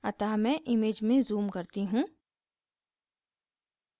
अतः मैं image में zoom करती हूँ